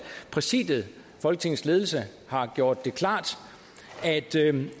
præsidiet folketingets ledelse har gjort det klart